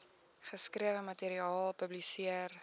geskrewe materiaal publiseer